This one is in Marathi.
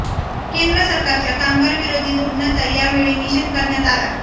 केंद्र सरकारच्या कामगारविरोधी धोरणाचा यावेळी निषेध करण्यात आला